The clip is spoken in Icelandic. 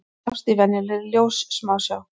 Þeir sjást í venjulegri ljóssmásjá.